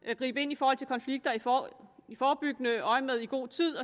at gribe ind i forhold til konflikter i forebyggende øjemed i god tid